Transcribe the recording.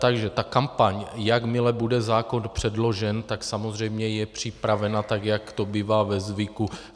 Takže ta kampaň, jakmile bude zákon předložen, tak samozřejmě je připravena tak, jak to bývá ve zvyku.